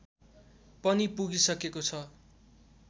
पनि पुगिसकेको छ